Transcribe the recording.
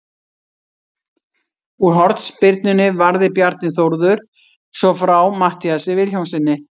Úr hornspyrnunni varði Bjarni Þórður svo frá Matthíasi Vilhjálmssyni.